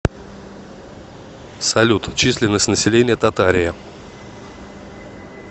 салют численность населения татария